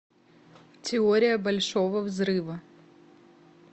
теория большого взрыва